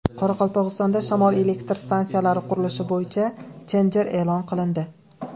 Qoraqalpog‘istonda shamol elektr stansiyalari qurilishi bo‘yicha tender e’lon qilindi.